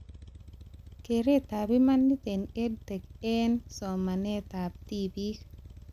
Keretab imanit eng EdTech eng smanetab tibik